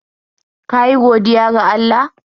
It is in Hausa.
Ka yi godiya ga Allah yau?